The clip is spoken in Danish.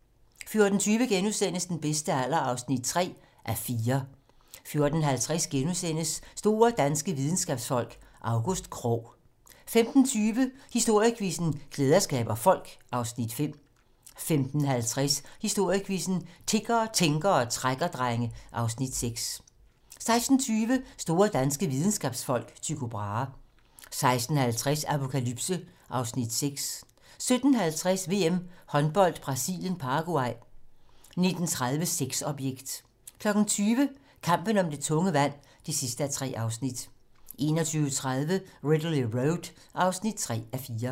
14:20: Den bedste alder (3:4) 14:50: Store danske videnskabsfolk: August Krogh * 15:20: Historiequizzen: Klæder skaber folk (Afs. 5) 15:50: Historiequizzen: Tiggere, tænkere og trækkerdrenge (Afs. 6) 16:20: Store danske videnskabsfolk: Tycho Brahe 16:50: Apokalypse (Afs. 6) 17:50: VM Håndbold: Brasilien - Paraguay 19:30: Sexobjekt 20:00: Kampen om det tunge vand (3:3) 21:30: Ridley Road (3:4)